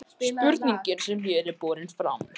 spurningin sem hér er borin fram